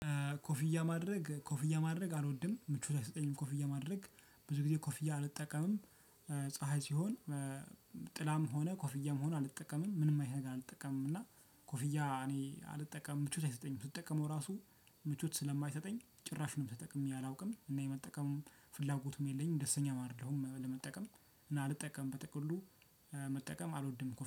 ኮፊያ ማድረግ ኮፊያ ማድረግ አልወድም ምቾት አይሰጠኝም ኮፊያ ማድረግ ብዙ ጊዜ ኮፊያ አልጠቀምም። ፀሀይ ሲሆን ጥላም ሆነ ኮፍያም ሆነ አልጠቀምም ምንም አይነት ነገር አልጠቀምም። እና ኮፍያ እኔ አልጠቀምም ምቾት አይሰጠኝም ስጠቀመው ራሱ ምቾት ስለማይሰጠኝ ጭራሽም ተጠቅሜ አላውቅም እና የመጠቀሙም ፍላጎቱም የለኝም። ደስተኛም አይደለሁም ለመጠቀም እና አልጠቀምም። በጥቅሉ መጠቀም አልወድም